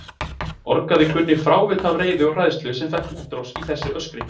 orgaði Gunni frávita af reiði og hræðslu sem fékk útrás í þessu öskri.